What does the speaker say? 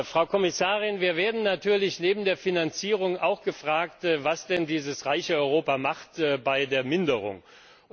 Frau Kommissarin, wir werden natürlich neben der Finanzierung auch gefragt, was denn dieses reiche Europa bei der Minderung macht.